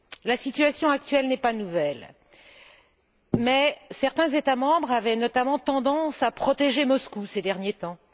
La situation actuelle n'est pas nouvelle mais certains États membres avaient tendance à protéger Moscou, ces derniers temps.